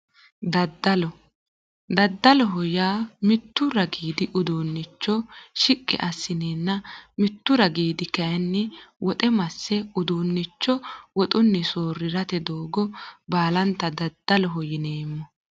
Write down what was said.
Daddalo daddaloho yaa mittu ragiidi uduunnicho shiqqi asseenna mittu ragiidi kayinni woxe masse uduunnicho woxunni soorrirate doogo baalanta daddaloho yineemmo